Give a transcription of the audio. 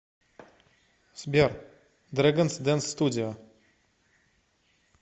сбер дрэганс дэнс студио